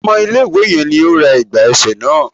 Ọmọ ilẹ̀ ìwé yẹn ní ó ra ẹ̀gbà ẹsẹ̀ náà.